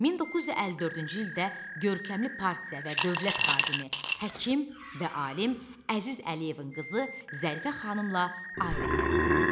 1954-cü ildə görkəmli partiya və dövlət xadimi, həkim və alim Əziz Əliyevin qızı Zərifə xanımla ailə həyatı qurdu.